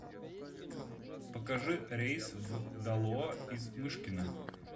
покажи рейс в далоа из мышкина